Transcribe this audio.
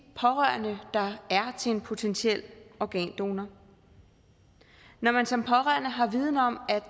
pårørende der er til en potentiel organdonor når man som pårørende har viden om at